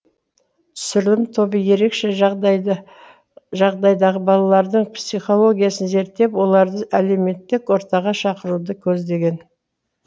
түсірілім тобы ерекше жағдайдағы балалардың психологиясын зерттеп оларды әлеуметтік ортаға шақыруды көздеген